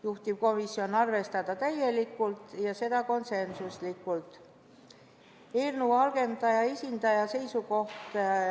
Juhtivkomisjoni ettepanek oli arvestada seda muudatusettepanekut täielikult, ja seda konsensuslikult.